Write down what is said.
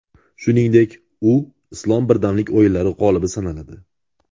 Shuningdek, u Islom birdamlik o‘yinlari g‘olibi sanaladi.